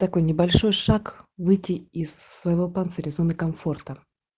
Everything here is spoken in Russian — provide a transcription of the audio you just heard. такой небольшой шаг выйти из своего панциря из зоны комфорта